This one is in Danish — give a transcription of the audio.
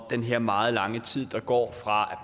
den her meget lange tid der går fra